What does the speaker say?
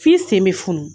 F'i sen bɛ funu